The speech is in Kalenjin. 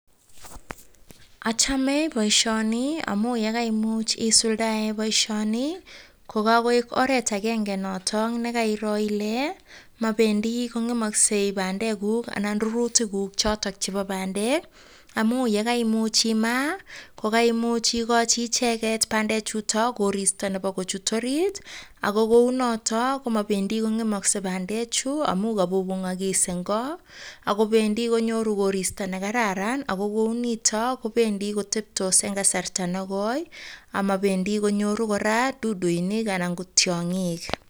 Achome boishoni amu yekaimuch isuldae boishoni ko kakoek oret agenge noto nekairo ile mabendi kong'emosgei bandekuk anan rurutikuk chotok chebo bandek amu yekaimuch imaa ko kaimuch ikoji icheget bandechuto koristo nebo kochut orit ako kou notok komabendi kong'emosei bandechu amu kabubung'okis eng' ko akobendi konyoru koristo nekararan ako kou nito kobendi koteptos eng' kasarta negoi amabendi konyoru kora duduinik anan ko tiong'ik